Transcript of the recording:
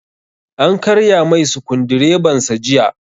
An karya mai sukudireban sa jiya